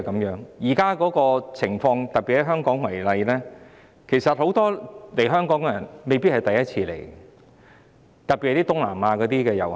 現在的情況是，特別以香港為例，其實很多訪港人士未必是首次來港，特別是東南亞的遊客。